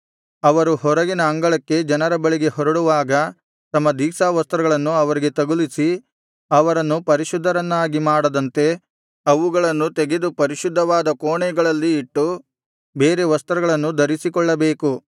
ಅವರು ಹೊರಗಿನ ಅಂಗಳಕ್ಕೆ ಜನರ ಬಳಿಗೆ ಹೊರಡುವಾಗ ತಮ್ಮ ದೀಕ್ಷಾವಸ್ತ್ರಗಳನ್ನು ಅವರಿಗೆ ತಗುಲಿಸಿ ಅವರನ್ನು ಪರಿಶುದ್ಧರನ್ನಾಗಿ ಮಾಡದಂತೆ ಅವುಗಳನ್ನು ತೆಗೆದು ಪರಿಶುದ್ಧವಾದ ಕೋಣೆಗಳಲ್ಲಿ ಇಟ್ಟು ಬೇರೆ ವಸ್ತ್ರಗಳನ್ನು ಧರಿಸಿಕೊಳ್ಳಬೇಕು